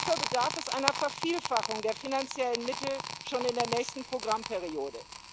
Hierfür bedarf es einer Vervielfachung der finanziellen Mittel schon in der nächsten Programmperiode.